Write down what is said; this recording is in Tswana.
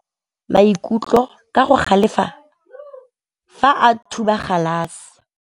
Morwa wa me o ne a kgomoga maikutlo ka go galefa fa a thuba galase.